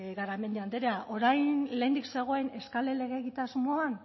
garamendi andrea orain lehendik zegoen eskale legegitasmoan